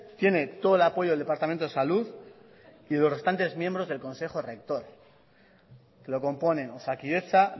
tiene todo el apoyo del departamento de salud y de los restantes miembros del consejo rector que lo componen osakidetza